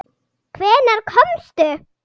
Hvenær komstu?